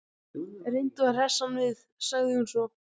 Reyndu að hressa hann við- sagði hún svo.